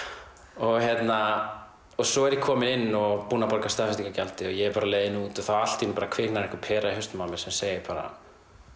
og hérna svo er ég kominn inn og búinn að borga staðfestingargjaldið og ég er bara á leiðinni út og þá allt í einu kviknar einhver pera í hausnum á mér sem segir bara